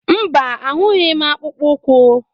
Mba, ahụghị m akpụkpọ ụkwụ.